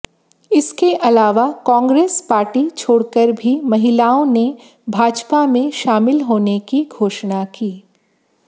इसके अलावा कांग्रेस पार्टी छोड़कर भी महिलाओं ने भाजपा में शामिल होने की घोषणा की